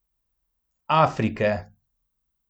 Afrike.